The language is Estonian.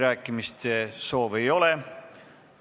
Rohkem kõnesoove ei ole.